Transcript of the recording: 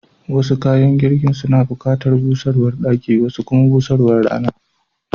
Wasu kayan girkin suna bukatar busarwar daki, wasu kuma busarwar Rana.